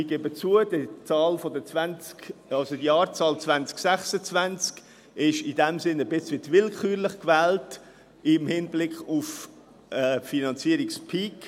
Ich gebe zu, dass die Jahreszahl 2026 etwas willkürlich gewählt ist, in Hinblick auf den Finanzierungspeak.